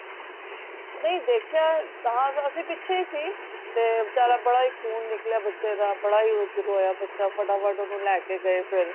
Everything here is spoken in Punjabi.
ਨਹੀਂ ਦੇਖਿਆ ਹਾਂ ਅੱਸੀ ਪਿਛੇ ਹੀ ਸੀ ਤੇ ਬੇਚਾਰਾ ਬੜਾ ਹੀ ਖੂਨ ਨਿਕਲਿਆ ਬੱਚੇ ਦਾ ਬੜਾ ਹੀ ਰੋਯਾ ਬੱਚਾ ਫਟਾਫਟ ਲੈ ਕ ਗਏ ਓਹਨੂੰ ਫੇਰ